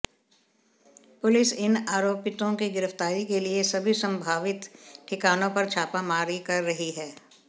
police इन आरोपितों की गिरफ्तारी के लिए सभी संभावित ठिकानों पर छापामारी कर रही है